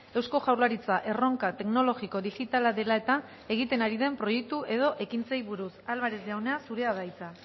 eusko jaurlaritza erronka teknologiko digitala dela eta egiten ari den proiektu edo ekintzei buruz álvarez jauna zurea da hitza